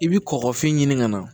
I bi kɔkɔfin ɲini ka na